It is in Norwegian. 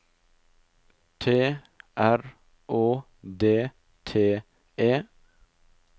T R Å D T E